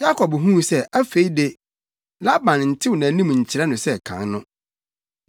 Yakob huu sɛ afei de, Laban ntew nʼanim nkyerɛ no sɛ kan no.